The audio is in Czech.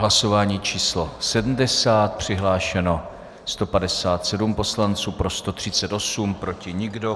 Hlasování číslo 70, přihlášeno 157 poslanců, pro 138, proti nikdo.